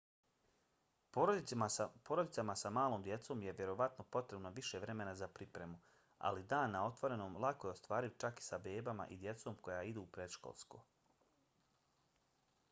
porodicama sa malom djecom je vjerovatno potrebno više vremena za pripremu ali dan na otvorenom lako je ostvariv čak i sa bebama i djecom koja idu u predškolsko